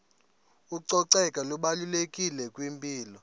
ucoceko lubalulekile kwimpilo